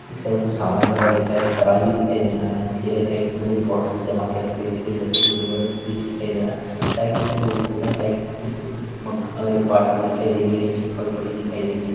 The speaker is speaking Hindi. इसके अलावा कुछ समान भरा दिख रहा है | एक तराजू दिखाई दे रहा है | पीछे के साइड में कुछ बोतल जमा के रखी हुई दिख रही है | लकड़ी के टेबल में एक फ्रीज दिखाई दे रहा है | साइड में बोतल दिखाई दे रही है | चप्पल पड़ी दिखाई दे रही है।